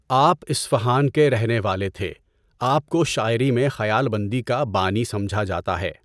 آپ اصفہان کے رہنے والے تھے۔ آپ کو شاعری میں خیال بندی کا بانی سمجھا جاتا ہے۔